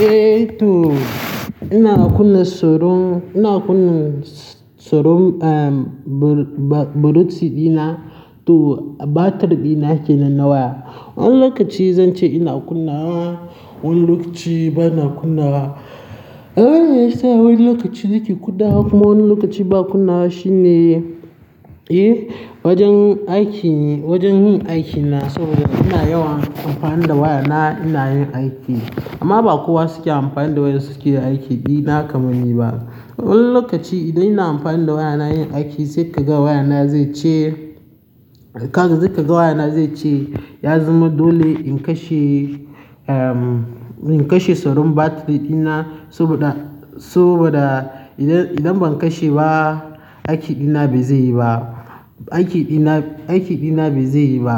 Eh to ina kunna soron ina kunna soron am buruci dina to batir dina kenan na waya. Wani lokaci zan ce ina kunna wa, wani lokaci bana kunna wa. Abin da ya sa wani lokaci nake kuda kuma wani lokaci ba kunna shi ne, eh? Wajen aiki yi wajen aiki na so ina yawan anfani da waya na ina yin aiki amma bakowa suke anfani da wayan suke anfani da wayan suke yi aiki dina kaman ni ba wani lokaci idan ina amfani da wayana yin aiki se ka ga wayana ze ce, se ka ga wayana ze ce, ya zama dole in kashe ehm in kashe soron batir dina saboda, saboda idan, idan ban kashe ba, aiki dina bai zai yi ba. Aiki dina, aiki dina bai zai yi ba.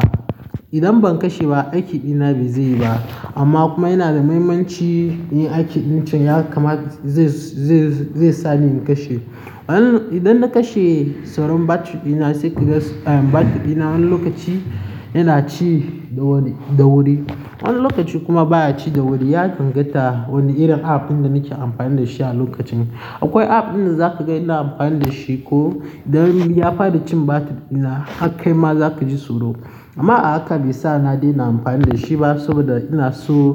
Idan ban kashe ba aiki dina bai zai yi ba. Amma kuma yana da muhimmanci inyin aikin ɗin can ya kama zai, zai, zai sa ni in kashe. Wani-- idan na kashe soron batir dina sai kiga ehm batir dina wani lokaci yana ci da wuri, da wuri. Wani lokaci kuma baya ci da wuri, ya danganta wani irin app ɗin da nake amfani da shi a lokacin. Akwai app ɗin da zaka ga ina amfani da shi ko idan ya fara cin batir dina hakkai ma zaka ji tsoro. Amma ahaka be sa na dena amfani da shi ba saboda ina so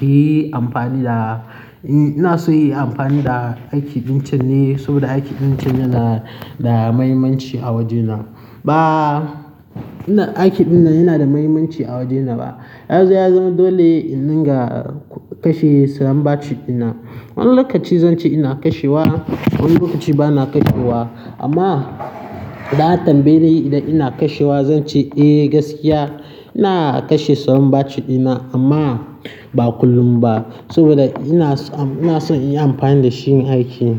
in yi amfani da, ina so in yi amfani da aiki ɗin can ne saboda aiki ɗin can yana da muhimmanci a wajena. Ba, ina aiki ɗinnan yana da muhimmanci a wajena ba. Ya zama dole in dinga kashe saron batir dina. Wani lokaci zan ce ina kashe wa, wani lokaci bana kashe wa. Amma da an tambayi idan ina kashe wa zan ce eh gaskiya ina kashe soron batir dina amma ba kullum ba saboda ina so, ina son in yi amfani da shi yin aiki.